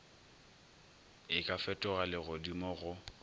e ka fetoga legodimo go